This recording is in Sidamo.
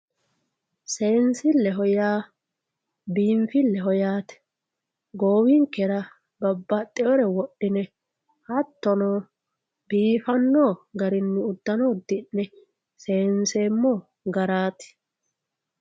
seensilleho yaa biinfilleho yaate goowinkera babbaxinore wodhine hattono biifanno garinni uddano uddi'ne seenseemmo garaati.